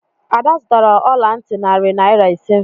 Ada zụtara ọla ntị narị naira ise.